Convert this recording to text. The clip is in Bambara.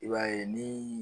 I b'a ye ni